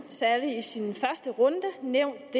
særlig i sin første runde nævnt